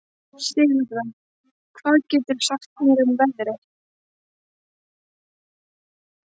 Sigurða, hvað geturðu sagt mér um veðrið?